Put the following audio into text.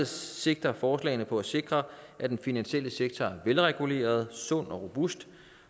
sigter forslaget på at sikre at den finansielle sektor er velreguleret sund og robust